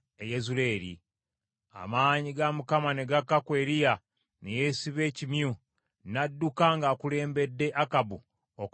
Amaanyi ga Mukama ne gakka ku Eriya ne yeesiba ekimyu, n’adduka ng’akulembedde Akabu okutuuka e Yezuleeri.